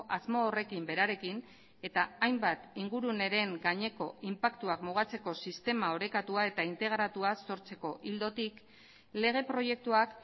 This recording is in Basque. asmo horrekin berarekin eta hainbat inguruneren gaineko inpaktuak mugatzeko sistema orekatua eta integratua sortzeko ildotik lege proiektuak